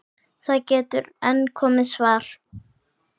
Það getur enn komið svar!